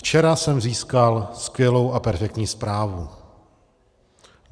Včera jsem získal skvělou a perfektní zprávu.